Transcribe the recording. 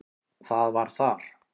Það var þar.